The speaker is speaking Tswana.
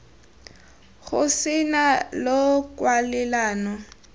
go se nne le kwalelano